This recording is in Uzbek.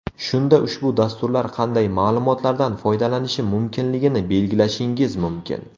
Shunda ushbu dasturlar qanday ma’lumotlardan foydalanishi mumkinligini belgilashingiz mumkin.